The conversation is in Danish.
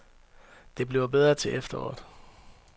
Det bliver bedre til efteråret.